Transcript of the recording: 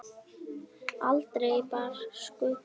Aldrei bar skugga á.